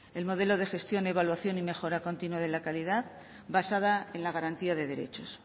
el modelo de gestión evaluación y mejora continua de la calidad basada en la garantía de derechos